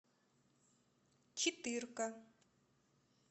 четырка